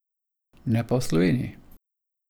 Ne pa v Sloveniji.